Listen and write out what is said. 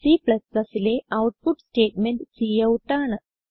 Cലെ output statement cout ആണ്